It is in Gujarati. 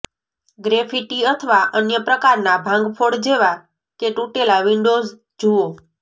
ગ્રેફિટી અથવા અન્ય પ્રકારના ભાંગફોડ જેવા કે તૂટેલા વિંડોઝ જુઓ